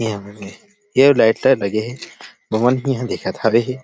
यह लाइटे ह लगे हे पवन ही इंहा दिखत हावे --